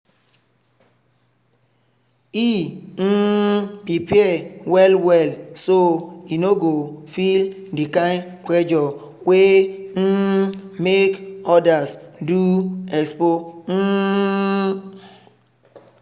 e um prepare well well so e no go feel the kind pressure wey um make others do expo. um